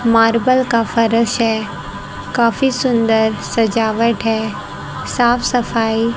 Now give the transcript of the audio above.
marble का फरश है काफी सुंदर सजावट है साफ सफाई--